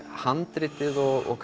handriti og